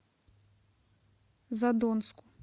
задонску